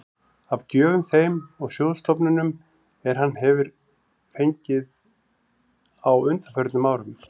af gjöfum þeim og sjóðstofnunum, er hann hefir fengið á undanförnum árum.